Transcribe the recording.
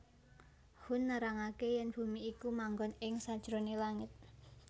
Hun nerangaké yèn bumi iku manggon ing sanjeroné langit